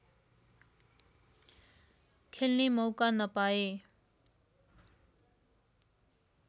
खेल्ने मौका नपाए